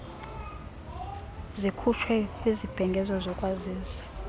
zikhutshwe kwizibhengezo zokwazisa